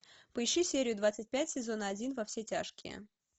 поищи серию двадцать пять сезон один во все тяжкие